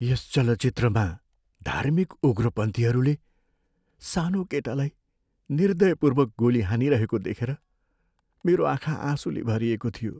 यस चलचित्रमा धार्मिक उग्रपन्थीहरूले सानो केटालाई निर्दयपूर्वक गोली हानिरहेको देखेर मेरो आँखा आँसुले भरिएको थियो।